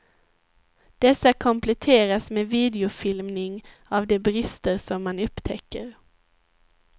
Dessa kompletteras med videofilmning av de brister som man upptäcker.